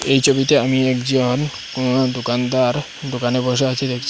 এই ছবিতে আমি একজন কোনো দোকানদার দোকানে বসে আছে দেখছি।